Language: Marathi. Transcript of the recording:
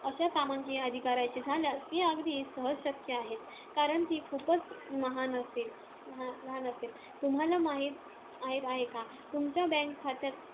अशा कामांची यादी करायची झाल्यास ती अगदी सहज शक्‍य आहे. कारण ती खूपच लहान असेल. तुम्हांला माहीत आहे का? तुमच्या bank खात्यात